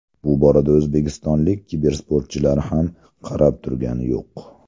Bu borada o‘zbekistonlik kibersportchilar ham qarab turgani yo‘q.